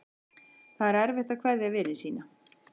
Það er erfitt að kveðja vini sína.